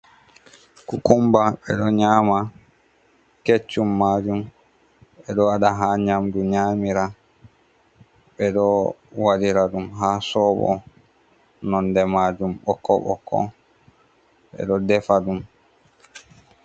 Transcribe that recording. Kukumba be ɗo nyama kecum majum. Be ɗo waɗa ha nyamɗu nyamira. Be ɗo waɗira ɗum ha sobo. Nonɗe majum bokko-bokko. Be ɗo ɗefa ɗum.